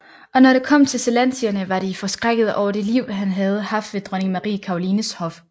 Og når det kom til zelantierne var de forskrækkede over det liv han havde haft ved dronning Marie Carolines hof